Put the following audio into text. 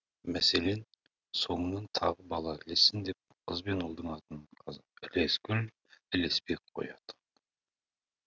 мәселен соңынан тағы бала ілессін деп қыз бен ұлдың атын ілескүл ілесбек қояды